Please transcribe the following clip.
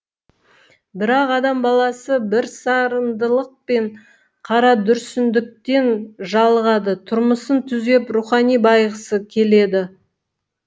бірақ адам баласы бірсарындылық пен қарадүрсіндіктен жалығады тұрмысын түзеп рухани байығысы келеді